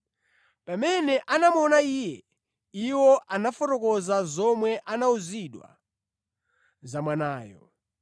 Pamene anamuona Iye, iwo anafotokoza zomwe anawuzidwa za mwanayo,